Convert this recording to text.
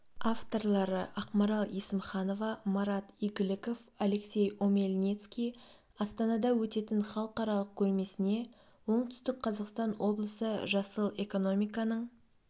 авторлары ақмарал есімханова марат игіліков алексей омельницкий астанада өтетін халықаралық көрмесіне оңтүстік қазақстан облысы жасыл экономиканың